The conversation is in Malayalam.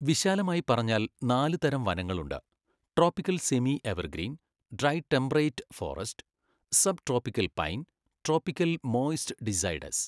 വിശാലമായി പറഞ്ഞാൽ, നാല് തരം വനങ്ങളുണ്ട്, tropical semi evergreen, dry temperate forest, sub tropical pine, tropical moist deciduous.